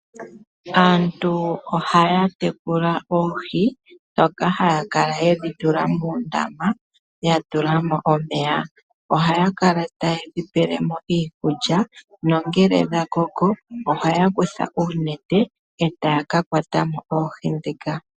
Aantu ohaya tekula oohi ndhoka haya kala yedhi tula moondama ya tula mo omeya. Ohaya taye dhi pele mo iikulya nongele dha koko ohaya kutha oonete e taya kakwata mo oohi ndhoka .